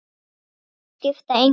Nöfn skipta engu máli.